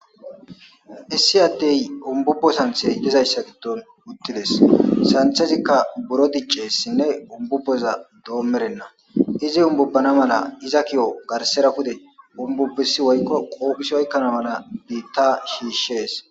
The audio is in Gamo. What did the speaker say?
issi adey umbubbo santhe yezayssa giddon uttides santhezikka buro diccessinne umbubboza doommerenna izi umbubbana mala iza ki7o garsera kude umbubesi woykko qoophisi oykkana mala biitta shiishshees